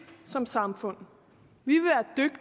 som samfund